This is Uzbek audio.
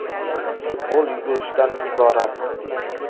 Futbol yugurishdan iborat.